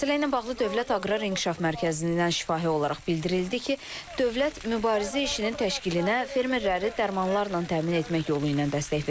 Məsələ ilə bağlı Dövlət Aqrar İnkişaf Mərkəzindən şifahi olaraq bildirildi ki, dövlət mübarizə işinin təşkilinə fermerləri dərmanlarla təmin etmək yolu ilə dəstək verir.